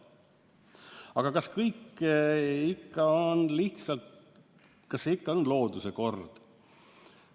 Aga kas kõik ikka on lihtsalt looduse kord?